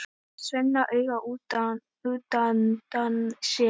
Svenna auga útundan sér.